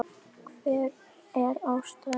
Hver var ástæðan?